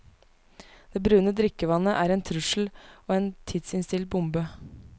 Det brune drikkevannet er en trussel og en tidsinnstilt bombe.